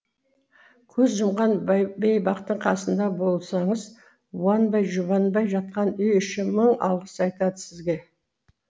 көз жұмған бейбақтың қасында болсаңыз уанбай жұбанбай жатқан үй іші мың алғыс айтады сізге